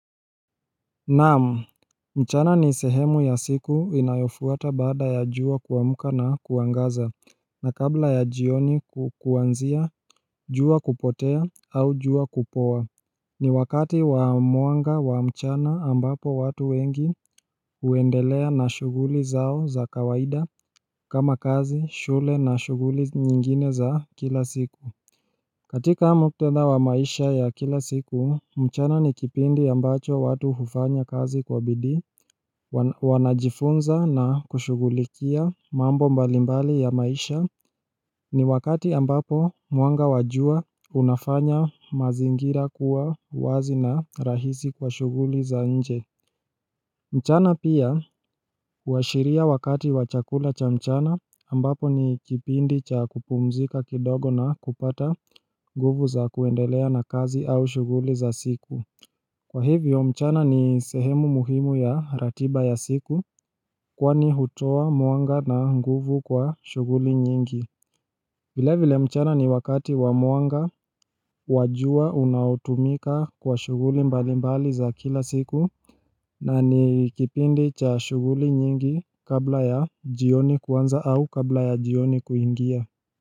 Naamu, mchana ni sehemu ya siku inayofuata bada ya jua kuamuka na kuangaza na kabla ya jioni ku, kuanzia jua kupotea au jua kupowa ni wakati wa mwanga wa mchana ambapo watu wengi huendelea na shughuli zao za kawaida kama kazi, shule na shughuli nyingine za kila siku katika muktadha wa maisha ya kila siku, mchana ni kipindi ambacho watu hufanya kazi kwa bidii wanajifunza na kushughulikia mambo mbalimbali ya maisha ni wakati ambapo mwanga wa jua unafanya mazingira kuwa wazi na rahisi kwa shughuli za nje. Mchana pia huashiria wakati wa chakula cha mchana ambapo ni kipindi cha kupumzika kidogo na kupata nguvu za kuendelea na kazi au shughuli za siku Kwa hivyo mchana ni sehemu muhimu ya ratiba ya siku kwani hutoa mwanga na nguvu kwa shughuli nyingi vile vile mchana ni wakati wa mwanga wa jua unaotumika kwa shughuli mbali mbali za kila siku na ni kipindi cha shughuli nyingi kabla ya jioni kuanza au kabla ya jioni kuingia.